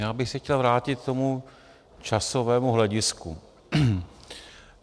Já bych se chtěl vrátit k tomu časovému hledisku.